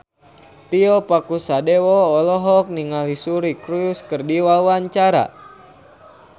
Tio Pakusadewo olohok ningali Suri Cruise keur diwawancara